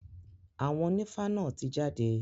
Àwọn ònífá náà ti jáde.